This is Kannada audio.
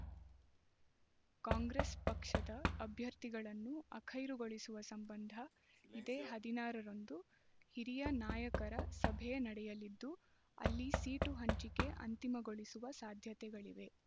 ಕಾಂಗ್ರೆಸ್ ಪಕ್ಷದ ಅಭ್ಯರ್ಥಿಗಳನ್ನು ಅಖೈರುಗೊಳಿಸುವ ಸಂಬಂಧ ಇದೇ ಹದಿನಾರ ರಂದು ಹಿರಿಯ ನಾಯಕರ ಸಭೆ ನಡೆಯಲಿದ್ದು ಅಲ್ಲಿ ಸೀಟು ಹಂಚಿಕೆ ಅಂತಿಮಗೊಳಿಸುವ ಸಾಧ್ಯತೆಗಳಿವೆ